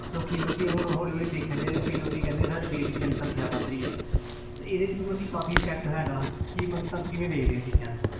ਲੋਕੀ ਮਤਲਬ ਕਿ ਹੁਣ ਹੌਲੀ ਹੌਲੀ ਦੇਖਿਆ ਜਾਏ ਤੇ ਕਈ ਲੋਕੀ ਕਹਿੰਦੇ ਆ ਸਾਡੇ ਦੇਸ ਦੀ ਜਨਸੰਖਿਆ ਵੱਧ ਰਹੀ ਹੈ ਤੇ ਇਹਦੇ 'ਚ ਵੀ ਮਤਲਬ ਕਿ ਕਾਫ਼ੀ effect ਹੈਗਾ ਕੀ ਮਤਲਬ ਕਿ ਤੁਹਾਨੂੰ ਕਿਵੇਂ ਵੇਖਦੇ ਹੋ ਇਹ ਚੀਜ਼ਾਂ ਨੂੰ